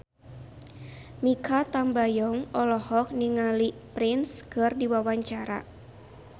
Mikha Tambayong olohok ningali Prince keur diwawancara